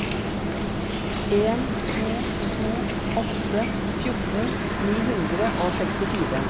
en to to åtte fjorten ni hundre og sekstifire